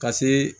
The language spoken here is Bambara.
Ka see